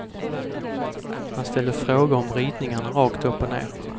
Han ställde frågor om ritningarna rakt upp och ned.